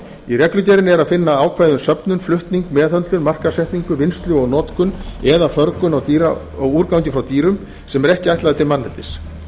í reglugerðinni er að finna ákvæði um söfnun flutning meðhöndlun markaðssetningu vinnslu og notkun eða förgun á úrgangi frá dýrum sem eru ekki ætlaður til manneldis